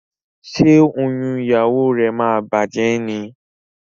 Ṣe oyún ìyàwó rẹ má bàjé ní?